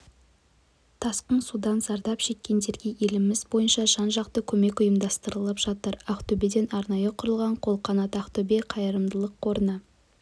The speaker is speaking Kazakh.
тасқын судан зардап шеккендерге еліміз бойынша жан-жақты көмек ұйымдастырылып жатыр ақтөбеде арнайы құрылған қолқанат-ақтөбе қайырымдылық қорына